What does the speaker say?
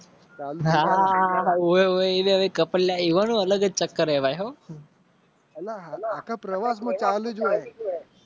તાપમાન અને.